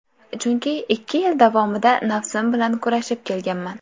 Chunki ikki yil davomida nafsim bilan kurashib kelganman.